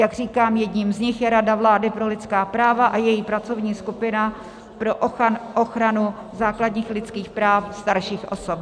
Jak říkám, jedním z nich je Rada vlády pro lidská práva a její pracovní skupina pro ochranu základních lidských práv starších osob.